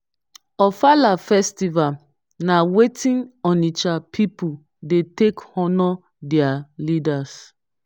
ofala festival na wetin onitsha pipu dey take honour their leaders.